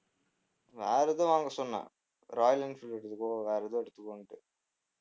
வேற எதுவும் வாங்க சொன்னேன் ராயல் என்ஃபீல்ட் எடுத்துக்கோ வேற எதுவும் எடுத்துக்கோன்னுட்டு